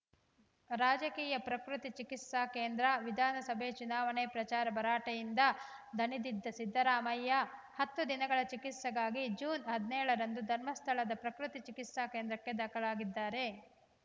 ರಾಜಕೀಯ ಪ್ರಕೃತಿ ಚಿಕಿತ್ಸಾ ಕೇಂದ್ರ ವಿಧಾನಸಭೆ ಚುನಾವಣಾ ಪ್ರಚಾರ ಭರಾಟೆಯಿಂದ ದಣಿದಿದ್ದ ಸಿದ್ದರಾಮಯ್ಯ ಹತ್ತು ದಿನಗಳ ಚಿಕಿತ್ಸೆಗಾಗಿ ಜೂನ್ ಹದಿನೇಳರಂದು ಧರ್ಮಸ್ಥಳದ ಪ್ರಕೃತಿ ಚಿಕಿತ್ಸಾ ಕೇಂದ್ರಕ್ಕೆ ದಾಖಲಾಗಿದ್ದಾರೆ